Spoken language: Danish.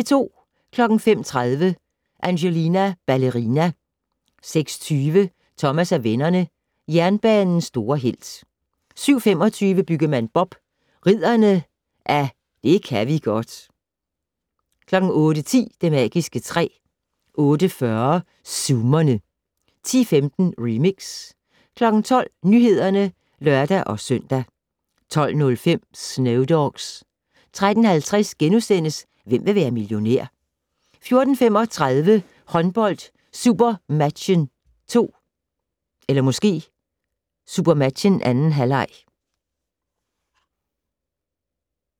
05:30: Angelina Ballerina 06:20: Thomas og vennerne: Jernbanens store helt 07:25: Byggemand Bob: Ridderne af det ka' vi godt 08:10: Det magiske træ 08:40: Zoomerne 10:15: Remix 12:00: Nyhederne (lør-søn) 12:05: Snow Dogs 13:50: Hvem vil være millionær? * 14:35: Håndbold: SuperMatchen2. halvleg.